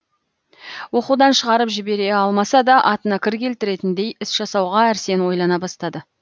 оқудан шығарып жібере алмаса да атына кір келтіретіндей іс жасауға әрсен ойлана бастады